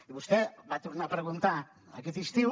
i vostè va tornar ho a preguntar aquest estiu